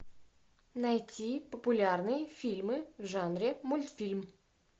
найти популярные фильмы в жанре мультфильм